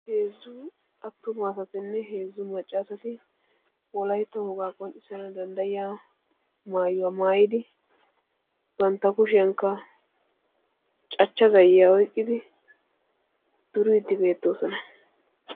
heezzu attumane macca assati wolaytta wogaa maayuwaa maayidi bantta kushiyanikka cachcha zayiyaa oyqidi duridi de"oosona.